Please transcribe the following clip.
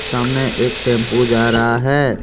सामने एक टेंपू जा रहा है।